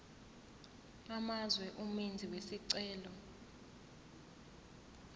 amazwe umenzi wesicelo